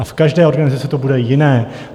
A v každé organizaci to bude jiné.